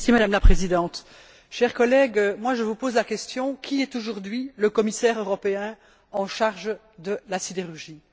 Madame la Présidente, chers collègues, je vous pose la question qui est aujourd'hui le commissaire européen en charge de la sidérurgie?